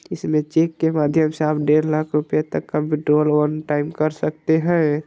इसमें चेक के माध्यम से आप डेढ़ लाख रुपये तक का विड्रॉल वन टाइम कर सकते हैं।